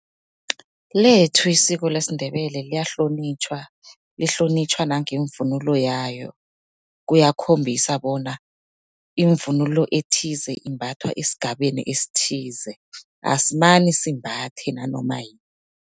Lethu isiko lesiNdebele liyahlonitjhwa, lihlonitjhwa nangevunulo yayo. Kuyakhombisa bona ivunulo ethize imbathwa esigabeni esithize, asimane simbathe nanoma